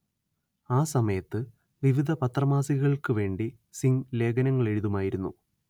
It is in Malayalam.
ആ സമയത്ത് വിവിധ പത്രമാസികകൾക്കുവേണ്ടി സിംഗ് ലേഖനങ്ങളെഴുതുമായിരുന്നു